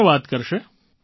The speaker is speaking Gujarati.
કોણ વાત કરશે